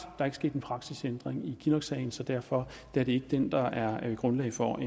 der ikke sket en praksisændring i kinnocksagen så derfor er det ikke den der er grundlag for